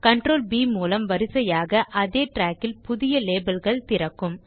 CtrlB மூலம் வரிசையாக அதே trackல் புதிய labelகள் திறக்கும்